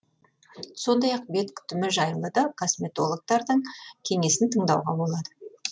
сондай ақ бет күтімі жайлы да косметологтардың кеңесін тыңдауға болады